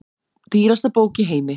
Dýrasta bók í heimi